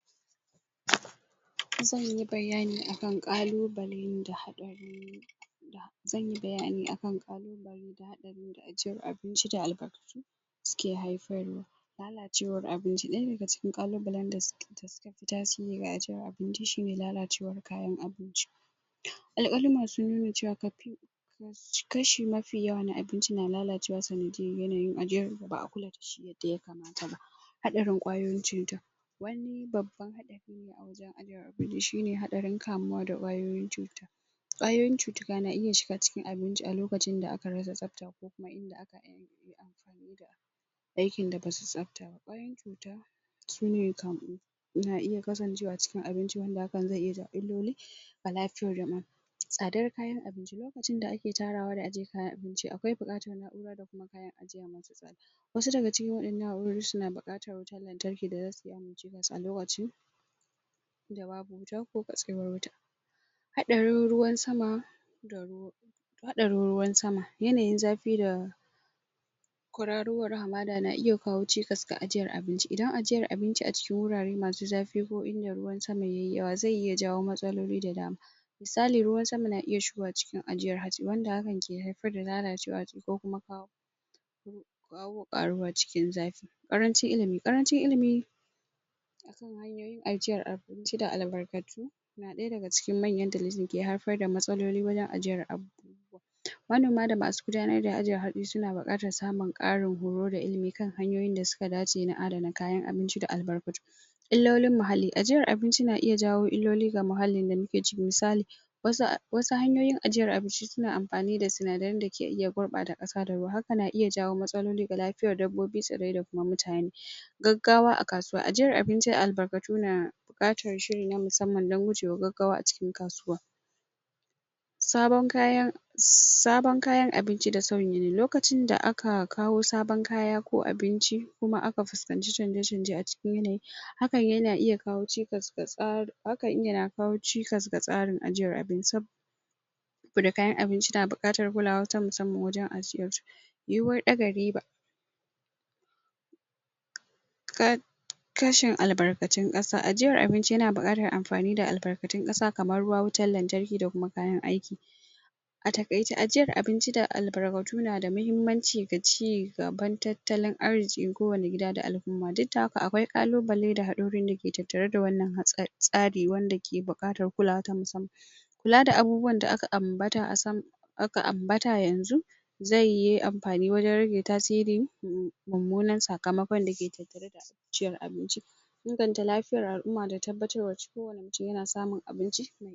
? zanyi bayani akan ƙalubalen da zanyi bayani akan ƙalubale da ajiyan abinci da albarkatu suke haifarwa lalacewar abinci ɗaya daga cikin ƙalubalen da suke tasiri ga ajiyar abinci shine lalacewar kayan abinci? ƙalƙalin masu lalacewa kafin kashi mafi yawa na abinci na lalacewa saniyyar yanayin ajiyar ba'a kula dashi yadda yakamata ba haɗarin ƙwayoyin cuta wani babban a wajen ajiyan abinci shine haɗarin kamuwa da ƙwayoyin cuta ƙwayoyin cuta na iya shiga cikin abinci a lokacin da aka rasa tsafta ko kuma inda akayi aihinin ampani da aikin da basu tsafta ba ƙwayoyin cuta su ne kaman na iya kasancewa cikin abinci wanda hakan zai iya jawo illoli ga lafiyar kama'a tsadar kayan abinci lokacin da ake tarawa da ajiyan kayan abincin akwai buƙatar na'ura da kuma kayan ajiya masu tsada wasu daga cikin waɗannan na'urori suna baƙatar wutan lantarki zasu yi aiki a lokacin da babu wuta ko katsewar wuta haɗarin ruwan sama haɗarin ruwan sama yanayin zafi da kwararowar hamada na iya kawo cikas ga ajiyar abinci idan ajiyar abinci a cikin wurare masu zafi ko inda ruwan sama yayi yawa zai iya jawo matsaloli da dama misali ruwan sama na iya shigowa cikin ajiyar hatsi wanda hakan ke haifar da lalacewar abinci ko kuma kawo ƙaruwa cikin zafi ƙarancin ilimi, ƙarancin ilimi akan hanyoyin ajiyar abinci da albarkatu na ɗaya daga cikin manyan dalilin da ya haifar da matsaloli wajen ajiyar abu manoma da masu gudanar da ajiyar hatsi suna buƙatar samun ƙarin horo da ilimi kan hanyoyin da suka dace kan adana kayan abinci da albarkatu illolin muhalli ajiyar abinci na iya jawo illoli ga muhallin da muke ciki misali wasu hanyoyin ajiyar abinci suna amfani da sinadaran dake iya gurɓata ƙasa da ruwa haka na iya jawo matsaloli da lafiyar dabbobi tsirrai da kuma mutane gaggawa a kasuwa ajiyar abinci da albarkatu na buƙatar shiri na musamman don gujewa wa gaggawa a cikin kasuwa sabon kayan sabon kayan abinci da sauyin yanayi lokacin da aka kawo sabon kaya ko abinci kuma aka fuskanci chanje chanje a cikin yanayi hakan yana iya kawo cikas ga tsarin hakan na kawo cikas ga tsarin ajiyar abinci saboda kayan abincin tana buƙatan kulawa ta musamman wajen ajiyarsu yiwuwar ɗaga riba?? kashin albarkatun ƙasa ajiyar abinci yana buƙatar ampani da albarkatun ƙasa kamar ruwa wutan lantarki da kuma kayan aiki a taƙaice ajiyar abinci da albarkatu na da mahimmanci ga cigaban tattalin arziki ko wani gida da al'umma duk da haka akwai ƙalubale da haɗarorin dake tattare da wannan tsari wanda ke buƙatar kulawa ta musamman kula da abubuwa da aka ambata a sama aka ambata yanzu zai yi ampani wajen rage tasiri mummunan sakamakon da ke ajiyar abinci inganta lafiyar al'uma da tabbatarwar kowani mutun yana samun abinci